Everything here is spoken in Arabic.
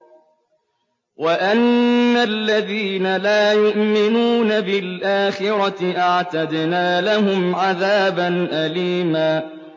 وَأَنَّ الَّذِينَ لَا يُؤْمِنُونَ بِالْآخِرَةِ أَعْتَدْنَا لَهُمْ عَذَابًا أَلِيمًا